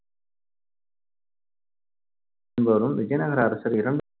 என்பவரும் விஜயநகர அரசர் இரண்~